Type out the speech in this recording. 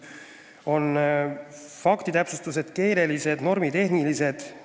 Need on faktitäpsustused, keelelised ja normitehnilised muudatused.